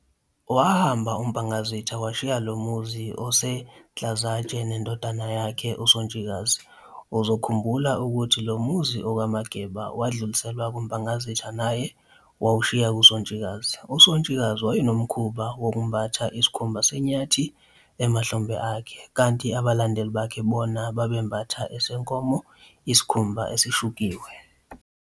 Wahamba uMpangazitha washiya lomuzi oseNhlazatshe nendodana yakhe uSontshikazi, uzokhumbula ukuthi lomuzi okaMageba, wadluliselwa kuMpangazitha naye wawushiya kuSontshikazi.uSontshikazi wayenomkhuba woku, mbatha, isikhumba senyathi emahlombe akhe, kanti abalandeli bakhe bona babe, mbatha, esenkomo isikhumba esishukiwe.